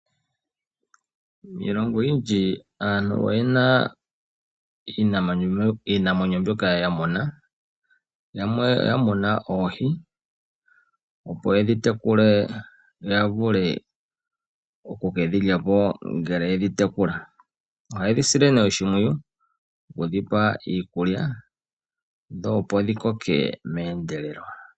Miilongo oyindji aantu oyena iinamwenyo ya muna, yamwe oya muna oohi, opo yedhi tekule yo ya vule okukedhi lyapo ngele yedhi tekula. Ohaye dhi sile nduno oshimpwiyu, okudhipa iikulya, dho opo dhi koke meendelelo.